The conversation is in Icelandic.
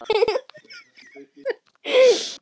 En hver vegna?